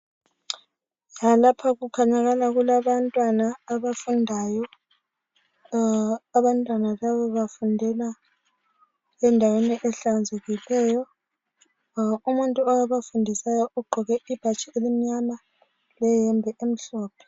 Lapha kukhanya kulabantwana abafundayo abantwana laba bafundela endaweni ehlanzekileyo umuntu obafundisayo ugqoke ibhatshi elimnyama leyembe emhlophe.